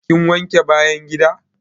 Kin wanke bayan gida?